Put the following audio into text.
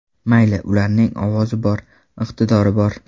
Mayli, ularning ovozi bor, iqtidori bor.